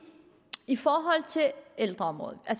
i forhold til ældreområdet at